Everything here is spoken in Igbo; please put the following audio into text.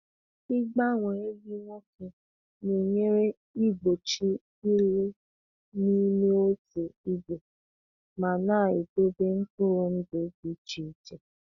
Ịgbanwe ehi nwoke na-enyere igbochi ịlụ n’ime otu ìgwè ma na-edobe mkpụrụ ndụ dị iche iche.